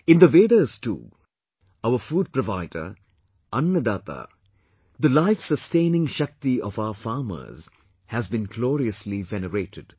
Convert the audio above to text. In the Vedas too, our food provider, Annadaata, the life sustaining shakti of our farmers has been gloriously venerated